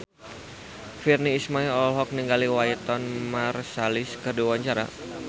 Virnie Ismail olohok ningali Wynton Marsalis keur diwawancara